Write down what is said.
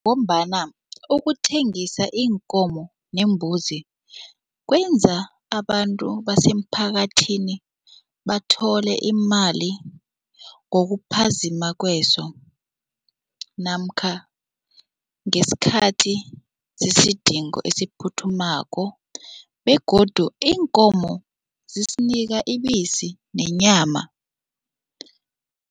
Ngombana ukuthengisa iinkomo neembuzi kwenza abantu basemphakathini bathole imali ngokuphazima kweso namkha ngesikhathi sezidingo esiphuthumako begodu iinkomo zisinika ibisi nenyama.